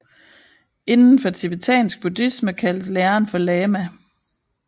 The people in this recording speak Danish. Inden for tibetansk buddhisme kaldes læreren for lama